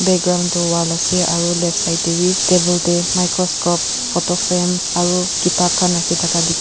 Background tu wall ase aro left side tey beh table tey microscope photo frame aro ketap khan rakhe thaka de--